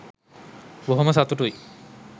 බොහොම සතුටුයි